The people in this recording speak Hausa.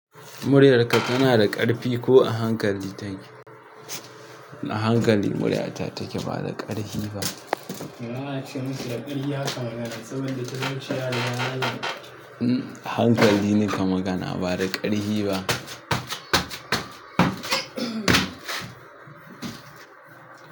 Muryarka tana da ƙarfi ko a hankali take? A hankali muryata take ba da ƙarfi ba. A a ce musu da ƙarfi haka magana saboda talauci yariga nan. A hankali naka magana ba da ƙarfi ba.